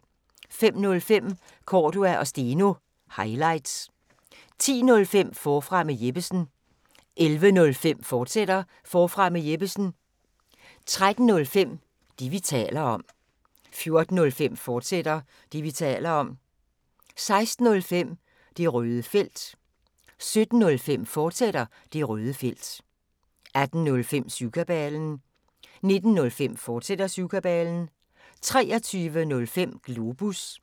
05:05: Cordua & Steno – highlights 10:05: Forfra med Jeppesen 11:05: Forfra med Jeppesen, fortsat 13:05: Det, vi taler om 14:05: Det, vi taler om, fortsat 16:05: Det røde felt 17:05: Det røde felt, fortsat 18:05: Syvkabalen 19:05: Syvkabalen, fortsat 23:05: Globus